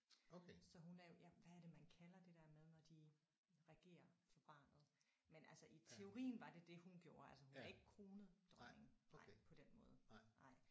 Så hun er jo ja hvad er det man kalder det der med når de regerer for barnet. Men altså i teorien var det det hun gjorde altså hun er ikke kronet dronning nej på den måde nej